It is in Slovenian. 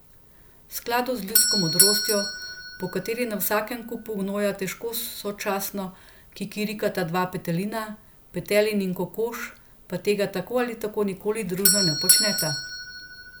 V skladu z ljudsko modrostjo, po kateri na istem kupu gnoja težko sočasno kikirikata dva petelina, petelin in kokoš pa tega tako ali tako nikoli družno ne počneta.